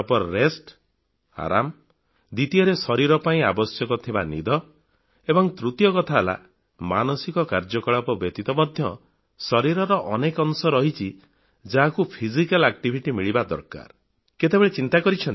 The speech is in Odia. ପ୍ରପର ରେଷ୍ଟ ଅର୍ଥାତ ଆରାମ ଦ୍ବିତୀୟରେ ଶରୀର ପାଇଁ ଆବଶ୍ୟକ ଭଲ ନିଦ ଏବଂ ତୃତୀୟ କଥା ହେଲା ମାନସିକ କାର୍ଯ୍ୟକଳାପ ବ୍ୟତୀତ ମଧ୍ୟ ଶରୀରର ଅନେକ ଅଂଶ ରହିଛି ଯାହାକୁ ଫିଜିକାଲ ଆକ୍ଟିଭିଟି ଶାରୀରିକ ପରିଶ୍ରମଖେଳକୁଦର ମଜା ମିଳିବା ଦରକାର